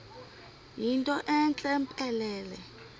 yinto entle mpelele